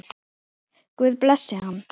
Guð blessi hann.